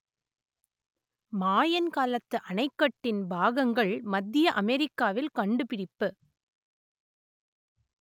மாயன் காலத்து அணைக்கட்டின் பாகங்கள் மத்திய அமெரிக்காவில் கண்டுபிடிப்பு